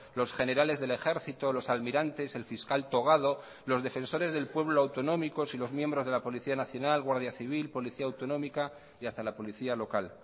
los generales del ejército los almirantes el fiscal togado los defensores del pueblo autonómicos y los miembros de la policía nacional guardia civil policía autonómica y hasta la policía local